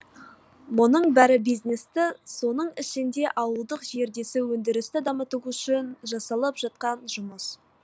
мұның бәрі бизнесті соның ішінде ауылдық жердегі өндірісті дамыту үшін жасалып жатқан жұмыс